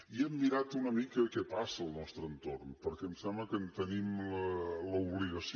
i hem mirat una mica què passa al nostre entorn perquè em sembla que en tenim l’obligació